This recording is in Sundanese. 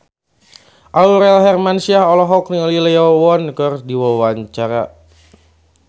Aurel Hermansyah olohok ningali Lee Yo Won keur diwawancara